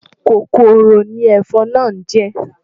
Kòkòrò ni ẹ̀fọn náà jẹ́.